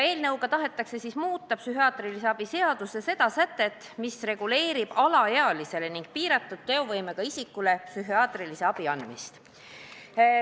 Eelnõu eesmärk on muuta psühhiaatrilise abi seaduse sätet, mis reguleerib alaealistele ning teistele piiratud teovõimega isikutele psühhiaatrilise abi andmist.